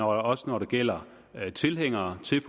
også når det gælder tilhængere som